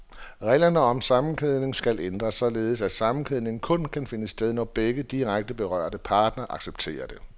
Reglerne om sammenkædning skal ændres, således at sammenkædning kun kan finde sted, når begge direkte berørte parter accepterer det.